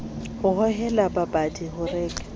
ho hohela babadi ho reka